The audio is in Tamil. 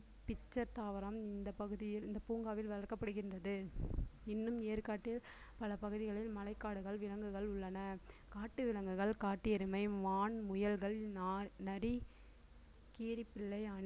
pitcher தாவரம் இந்தப் பூங்காவில் வளர்க்கப்படுகின்றது இன்னும் ஏற்காட்டில் பல பகுதிகளில் மலைக்காடுகள் விலங்குகள் உள்ளன காட்டு விலங்குகள் காட்டு எருமை, மான், முயல்கள் நா~, நரி, கீரிப்பிள்ளை